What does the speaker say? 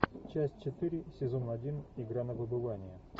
часть четыре сезон один игра на выбывание